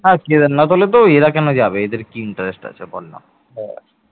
হ্যাঁ কেদারনাথ হলে তো এরা কেন যাবে এদের কি interest আছে বল না